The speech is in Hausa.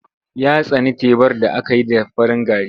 Ya tsani tebar da aka yi da farin gari.